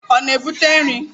Ọ na-ebute nri?